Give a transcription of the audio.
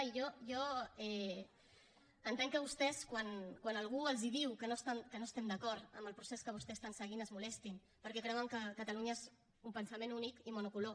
i jo entenc que vostès quan algú els diu que no estem d’acord amb el procés que vostès estan seguint es molestin perquè creuen que catalunya és un pensament únic i monocolor